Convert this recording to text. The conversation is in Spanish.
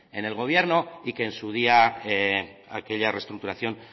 en el gobierno y que en su día aquella restructuración